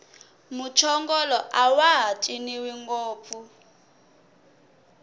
muchongolo awaha ciniwi ngopfu